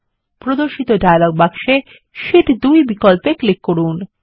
প্রদর্শিত ডায়লগ বক্সে শীট 2 বিকল্পে ক্লিক করুন